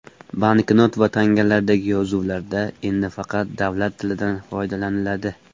Banknot va tangalardagi yozuvlarda endi faqat davlat tilidan foydalaniladi.